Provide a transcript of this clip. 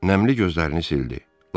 Nəmli gözlərini sildi.